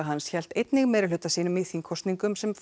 hans hélt einnig meirihluta sínum í þingkosningum sem